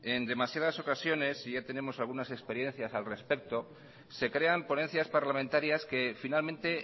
en demasiadas ocasiones y ya tenemos algunas experiencias al respecto se crean ponencias parlamentarias que finalmente